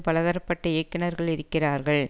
பலதரப்பட்ட இயக்குனர்கள் இருக்கிறார்கள்